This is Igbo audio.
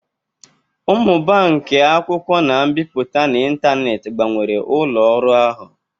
Mmụba nke e-akwụkwọ na mbipụta n'ịntanetị gbanwere ụlọ ọrụ ahu.